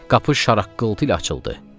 Qapı şaraqqıltı ilə açıldı.